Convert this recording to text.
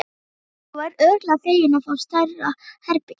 Þú verður örugglega feginn að fá stærra herbergi.